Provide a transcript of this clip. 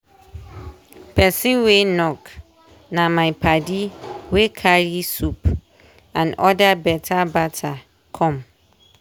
person wey knock na my padi wey carry soup and other beta bata come.